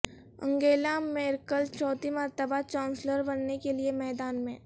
Angela Merkel چوتھی مرتبہ chancellor بننے کے لیے میدان میں